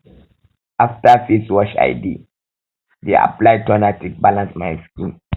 after face wash i dey dey apply toner take balance my skin